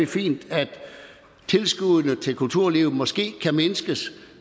fint at tilskuddene til kulturlivet måske kan mindskes